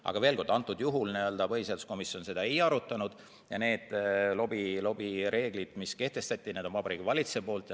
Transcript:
Ent veel kord: antud juhul põhiseaduskomisjon seda ei arutanud ja lobireeglid, mis kehtestati, on Vabariigi Valitsuse poolt.